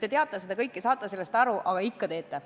Te teate seda kõike, saate sellest aru, aga ikka teete.